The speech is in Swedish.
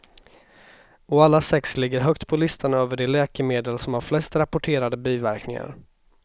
Och alla sex ligger högt på listan över de läkemedel som har flest rapporterade biverkningar.